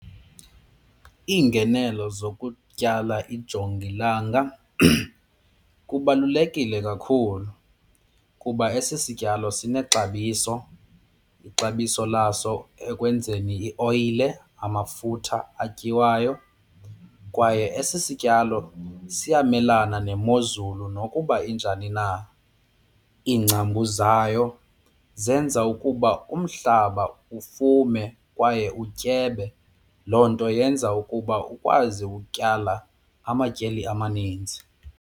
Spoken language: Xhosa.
Iingenelo zokutyala ijongilanga kubalulekile kakhulu kuba esi sityalo sinexabiso, ixabiso laso ekwenzeni ioyile amafutha atyiwayo kwaye esi sityalo siyamelana nemozulu nokuba injani na. Iingcambu zayo zenza ukuba umhlaba ufume kwaye utyebe, loo nto yenza ukuba ukwazi ukutyala amatyeli amaninzi.